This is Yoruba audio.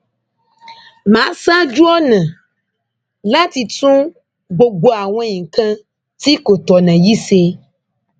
mà á ṣáájú ọnà láti tún gbogbo àwọn nǹkan tí kò tọnà yìí ṣe